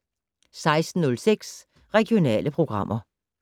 16:06: Regionale programmer